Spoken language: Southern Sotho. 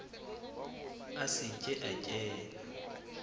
a se ke a kena